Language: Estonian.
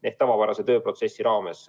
See on tavapärane tööprotsess.